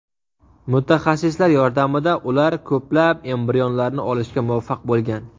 Mutaxassislar yordamida ular ko‘plab embrionlarni olishga muvaffaq bo‘lgan.